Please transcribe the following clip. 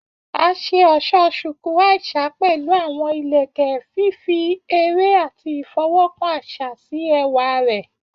A ṣe ọṣọ Shuku Aisha pẹlu awọn ilẹkẹ, fifi ere ati ifọwọkan aṣa si ẹwa rẹ.